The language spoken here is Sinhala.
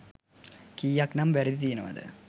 කීයක් නම් වැරදි තියෙනවද?